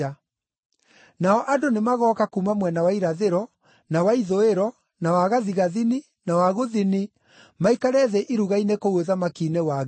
Nao andũ nĩmagooka kuuma mwena wa irathĩro, na wa ithũĩro, na wa gathigathini, na wa gũthini, maikare thĩ iruga-inĩ kũu ũthamaki-inĩ wa Ngai.